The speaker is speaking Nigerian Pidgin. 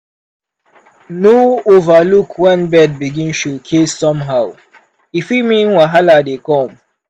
no overlook when bird begin showcase somehow e fit mean wahala dey come.